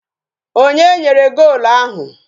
Onye nyere golu ahụ?